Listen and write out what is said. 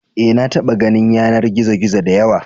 Eh, na taɓa ganin yanar gizo-gizo da yawa.